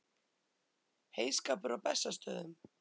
Heyskapur á Bessastöðum.